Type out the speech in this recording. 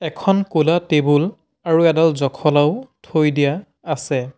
এখন ক'লা টেবুল আৰু এডাল জখলাও থৈ দিয়া আছে।